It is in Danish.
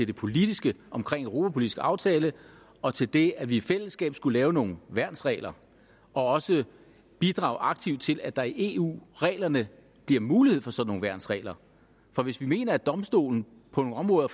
det politiske omkring en europapolitisk aftale og til det at vi i fællesskab skulle lave nogle værnsregler og også bidrage aktivt til at der i eu reglerne bliver mulighed for sådan nogle værnsregler for hvis vi mener at eu domstolen på nogle områder